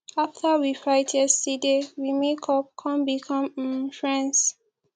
after we fight yesterday we make up come become um friends